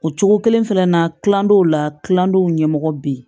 O cogo kelen fɛnɛ na kilandenw la kilandenw ɲɛmɔgɔ bɛ yen